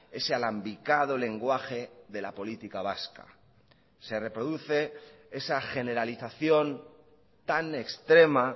ese alambicado lenguaje de la política vasca se reproduce esa generalización tan extrema